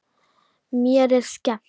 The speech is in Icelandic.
Mér er skemmt.